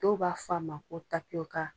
Dɔw b'a fɔ a ma ko tapiyoka.